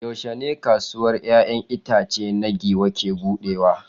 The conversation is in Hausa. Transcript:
Yaushe ne kasuwar 'ya'yan itace ta giwa ke buɗewa?